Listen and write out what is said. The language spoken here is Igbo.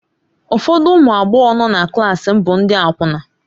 Ụfọdụ ụmụ agbọghọ nọ na klaasị m bụ ndị akwụna.